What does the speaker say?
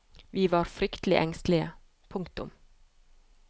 Vi var fryktelig engstelige. punktum